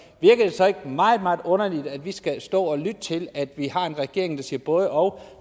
så ikke meget meget underligt at vi skal stå og lytte til at vi har en regering der siger både og